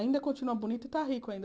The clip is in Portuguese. Ainda continua bonito e está rico ainda.